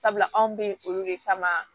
Sabula anw bɛ yen olu de kama